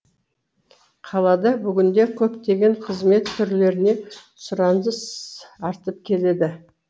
қалада бүгінде көптеген қызмет түрлеріне сұраныс артып келеді